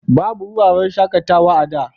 Babu wuraren shaƙatawa a da.